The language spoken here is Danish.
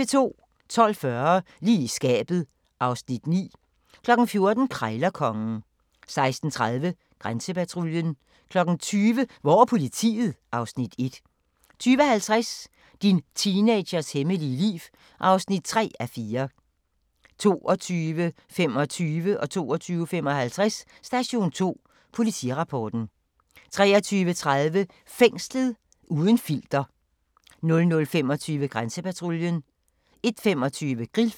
12:40: Lige i skabet (Afs. 9) 14:00: Krejlerkongen 16:30: Grænsepatruljen 20:00: Hvor er politiet? (Afs. 1) 20:50: Din teenagers hemmelige liv (3:4) 22:25: Station 2: Politirapporten 22:55: Station 2: Politirapporten 23:30: Fængslet – uden filter 00:25: Grænsepatruljen 01:25: Grillfeber